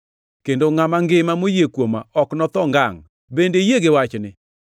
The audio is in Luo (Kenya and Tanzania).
kendo ngʼama ngima moyie kuoma ok notho ngangʼ. Bende iyie gi wachni?”